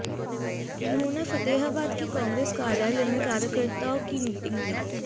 उन्होंने फतेहाबाद के कांग्रेस कार्यालय में कार्यकर्ताओं की मीटिंग ली